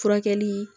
Furakɛli